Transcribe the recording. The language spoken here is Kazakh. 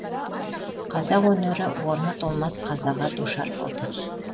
қазақ өнері орны толмас қазаға душар болды